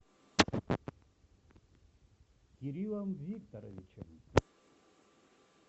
кириллом викторовичем